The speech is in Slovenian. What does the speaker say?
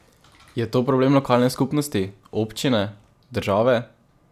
Je to problem lokalne skupnosti, občine, države?